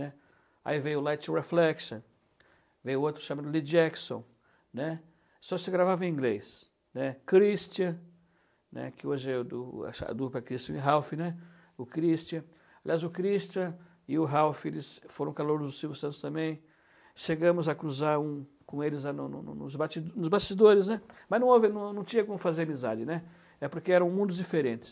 né. Aí veio Light Reflection, veio outro chamado Lee Jackson, né, só se gravava em inglês, né. Christian, né. que hoje é a dupla Christian e Ralph, né, o Christian, aliás o Christian e o Ralph eles foram calouros do Silvio Santos também, chegamos a cruzar um com eles no no no nos basti nos bastidores, né, mas não houve, não não tinha como fazer amizade, né, é porque eram mundos diferentes.